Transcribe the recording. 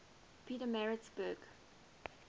pietermaritzburg